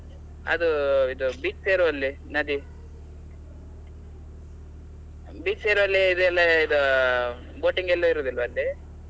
ಅದು ಇದು beach ಸೇರುವಲ್ಲಿ ನದಿ, beach ಸೇರುವಲ್ಲಿ ಇದೆಲ್ಲ ಅದು ಅಹ್ boating ಎಲ್ಲ ಇರುದಿಲ್ವಾ ಅಲ್ಲಿ?